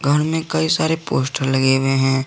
दुकान में कई सारे पोस्टर लगे हुए हैं।